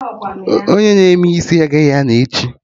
Onye na-eme isi agaghị anọ echi